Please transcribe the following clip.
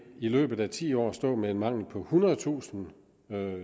i løbet af ti år vil stå med en mangel på ethundredetusind